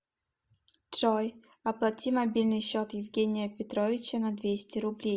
джой оплати мобильный счет евгения петровича на двести рублей